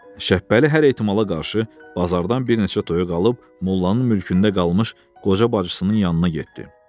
Şəppəli hər ehtimala qarşı bazardan bir neçə toyuq alıb, mollanın mülkündə qalmış qoca bacısının yanına getdi.